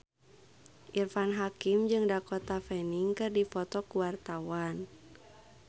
Irfan Hakim jeung Dakota Fanning keur dipoto ku wartawan